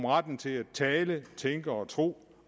retten til at tale tænke og tro